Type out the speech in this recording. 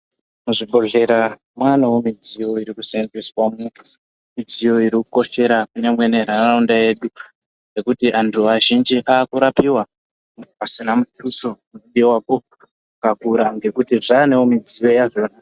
Muzvibhedhleya mavawo nemidziyo inoshandiswa mo midziyo iri kukoshera kunyangwe nenharaunda yedu nekuti antu vazhinji vakurapiwa pasina mutuso unodiwapo wakakura kuti dziwanewo midziyo yadzona.